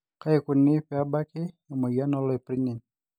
kaikuni peebaki emoyian oloipirnyiny